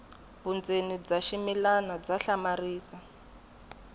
vundzeni bya ximilana bya hlamarisa